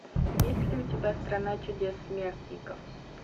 есть ли у тебя страна чудес смертников